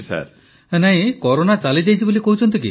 ପ୍ରଧାନମନ୍ତ୍ରୀ ନା କରୋନା ଚାଲିଯାଇଛି ବୋଲି କହୁଛନ୍ତି କି